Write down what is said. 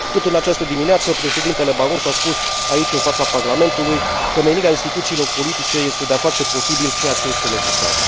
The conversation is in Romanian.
Tot în această dimineață președintele Barroso a spus aici, în fața Parlamentului, că menirea instituțiilor politice este de a face posibil ceea ce este necesar.